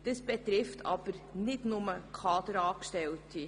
Das betrifft aber nicht nur Kaderangestellte.